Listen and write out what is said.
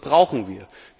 Was brauchen wir?